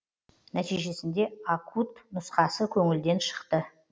нәтижесінде акут нұсқасы көңілден шықты